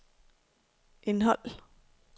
indhold